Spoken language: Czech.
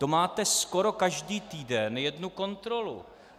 To máte skoro každý týden jednu kontrolu.